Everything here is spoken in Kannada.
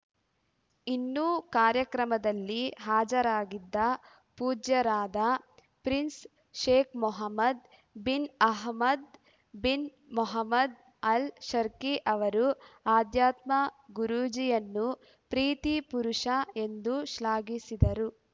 ಇನ್ನು ಕಾರ್ಯಕ್ರಮದಲ್ಲಿ ಹಾಜರಾಗಿದ್ದ ಪೂಜ್ಯರಾದ prince Sheikh Mohammed bin Hamad bin Mohammed Al Sharqi ಅವರು ಆಧ್ಯಾತ್ಮ ಗುರೂಜಿಯನ್ನು ಪ್ರೀತಿ ಪುರುಷ ಎಂದು ಶ್ಲಾಘಿಸಿದರು